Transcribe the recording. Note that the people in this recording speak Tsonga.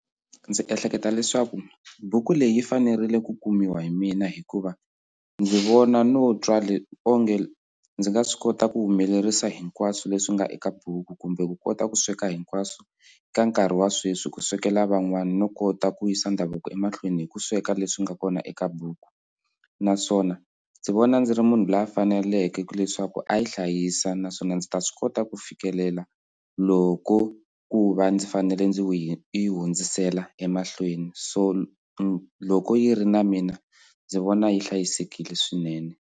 Ndzi ehleketa leswaku buku leyi yi fanerile ku kumiwa hi mina hikuva ndzi vona no twa onge ndzi nga swi kota ku humelerisa hinkwaswo leswi nga eka buku kumbe ku kota ku sweka hinkwaswo ka nkarhi wa sweswi ku swekela van'wana no kota ku yisa ndhavuko emahlweni hi ku sweka leswi nga kona eka buku naswona ndzi vona ndzi ri munhu loyi a faneleke leswaku a yi hlayisa naswona ndzi ta swi kota ku fikelela loko ku va ndzi fanele ndzi yi hundzisela emahlweni so loko yi ri na mina ndzi vona yi hlayisekile swinene.